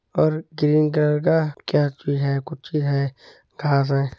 और cream colour का कैप्च भी है कुच्ची है घास हैं।